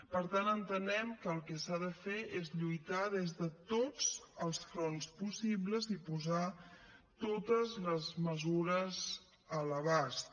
per tant entenem que el que s’ha de fer és lluitar des de tots els fronts possibles i posar totes les mesures a l’abast